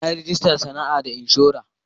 Na yi rajista sana'ata da inshora.